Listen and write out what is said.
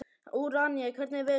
Úranía, hvernig er veðurspáin?